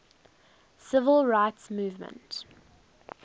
civil rights movement